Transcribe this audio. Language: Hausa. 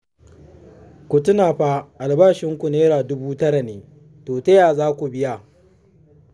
Ku tuna fa albashinku naira duba tara ne, to ta ya za ku biya?